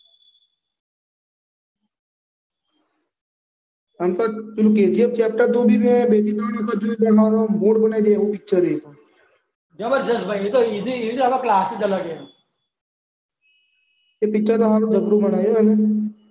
પણ KGF chapter બેથી ત્રણ વખત જોયું ને તોય મૂડ બનાવી દે એવું પિક્ચર છે. જબરજસ્ત ભાઈ એનો તો આખો ક્લાસ જ અલગ છે. એ પિક્ચર તો હારું જબરું બનાયુ હારુ